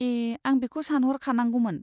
ए, आं बेखौ सानह'रखानांगौमोन।